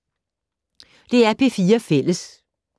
DR P4 Fælles